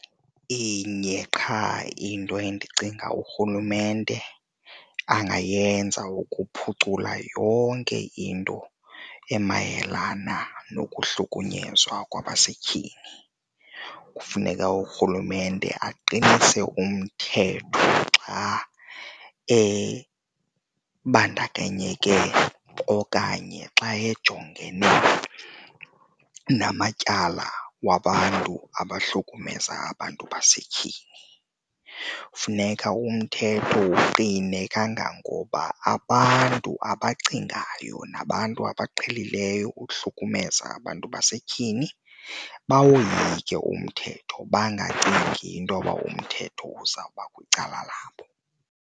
Inye qha into endicinga urhulumente angayenza ukuphucula yonke into emayelana nokuhlukunyezwa kwabasetyhini, kufuneka urhulumente aqinise umthetho xa ebandakanyeke okanye xa ejongene namatyala wabantu abahlukumeza abantu basetyhini. Funeka umthetho uqine kangangoba abantu abacingayo nabantu abaqhelileyo uhlukumeza abantu basetyhini bawoyike umthetho, bangacingi intoba umthetho uzawuba kwicala labo.